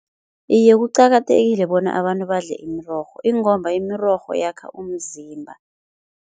Iye kuqakathekile bona abantu badle imirorho ingomba imirorho yakha umzimba.